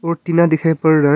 और टीना दिखाई पड़ रहा है।